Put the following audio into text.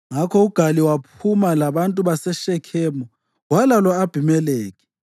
Ngakho uGali waphuma labantu baseShekhemu walwa lo-Abhimelekhi.